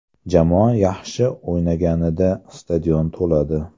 Jamoa yaxshi o‘ynaganida stadion to‘ladi.